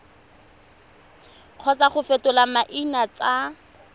kgotsa go fetola maina tsa